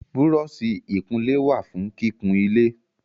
Búrọ́ọ̀sì ìkunlé wà fún kíkun ilé